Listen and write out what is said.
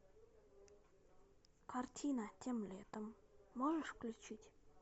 картина тем летом можешь включить